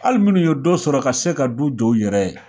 Hali minnu ye dɔ sɔrɔ ka se ka du jɔ u yɛrɛ ye